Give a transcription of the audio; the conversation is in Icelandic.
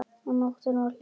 Og nóttin var hljóð.